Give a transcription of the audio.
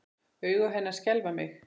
Augu hennar skelfa mig.